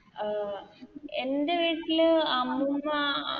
അഹ് എൻറെ വീട്ടില് അമ്മുമ്മ